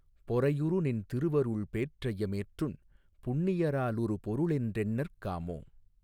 பொறையுறுநின் திருவருள்பேற் றைய மேற்றுண் புண்ணியரா லொருபொருளென் றெண்ணற் காமோ